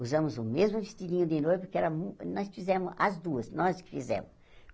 Usamos o mesmo vestidinho de noiva, porque era mu nós fizemos as duas, nós que fizemos.